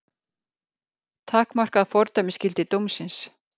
Takmarkað fordæmisgildi dómsins